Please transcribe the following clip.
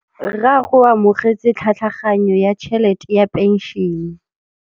Rragwe o amogetse tlhatlhaganyô ya tšhelête ya phenšene.